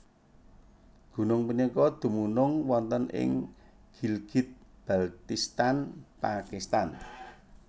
Gunung punika dumunung wonten ing Gilgit Baltistan Pakistan